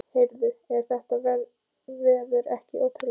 Heyrðu, er þetta veður ekki ótrúlegt?